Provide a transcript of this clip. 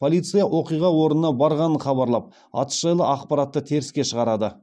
полиция оқиға орнына барғанын хабарлап атыс жайлы ақпаратты теріске шығарады